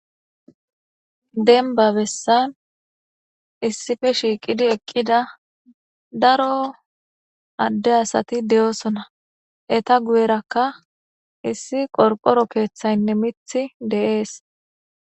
denba bessan issife shiiqidi eqqida daro adde asati de'osona eta guyerakka issi qorqoro keeththaynne mithi de'ees